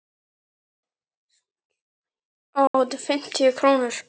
Fimmtíu krónur?